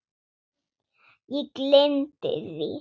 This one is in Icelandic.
Ég gleymdi því.